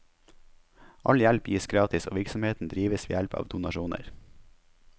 All hjelp gis gratis og virksomheten drives ved hjelp av donasjoner.